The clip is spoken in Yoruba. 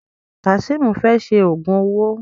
Kazeem fè ṣe ògún owó.